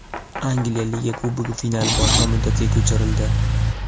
Angliya Liga Kubogi finali boshqa muddatga ko‘chirildi.